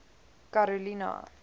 karolina